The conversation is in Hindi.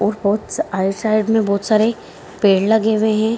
और बहोत आइट साइड में बहोत सारे पेड़ लगे हुए हैं।